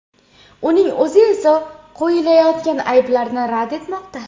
Uning o‘zi esa qo‘yilayotgan ayblarni rad etmoqda.